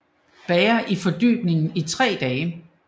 Magueyhjerterne bager i fordybningen i tre dage